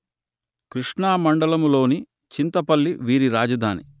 కృష్ణా మండలములోని చింతపల్లి వీరి రాజధాని